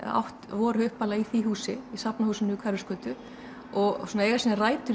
voru upphaflega í því húsi í Safnahúsinu við Hverfisgötu og eiga sínar rætur